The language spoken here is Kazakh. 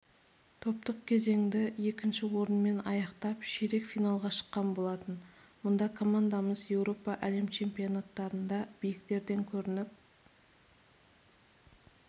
топтық кезеңді екінші орынмен аяқтап ширек финалға шыққан болатын мұнда командамыз еуропа әлем чемпионаттарында биіктерден көрініп